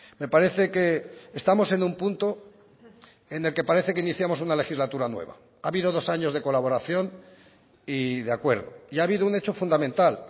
me parece que estamos en un punto en el que parece que iniciamos una legislatura nueva ha habido dos años de colaboración y de acuerdo y ha habido un hecho fundamental